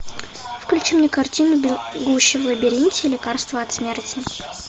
включи мне картину бегущий в лабиринте лекарство от смерти